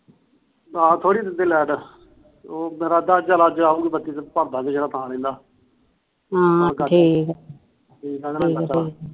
ਆਹੋ ਥੋੜੀ ਦਿੰਦੇ ਲੈਟ ਭਾਰਦਾਗੇ ਜਿਹੜਾ ਰਹਿੰਦਾ ਹਾ ਠੀਕੇ ਠੀਕੇ ਠੀਕੇ